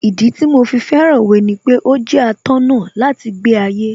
Ìdí tí mo fi fẹ́ràn Òwe ni pé ó jẹ́ atọ́nà láti gbé ayé